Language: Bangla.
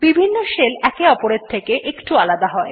বিভিন্ন শেল একে অপরের থেকে একটু আলাদা হয়